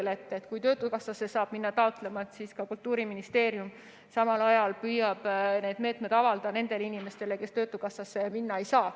Kui saab töötukassasse minna taotlema, siis Kultuuriministeerium samal ajal püüab meetmeid avada nendele inimestele, kes töötukassasse minna ei saa.